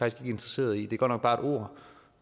ikke interesserede i det er godt nok bare et ord